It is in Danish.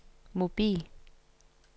mobil